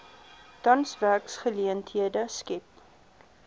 tans werksgeleenthede skep